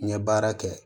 N ye baara kɛ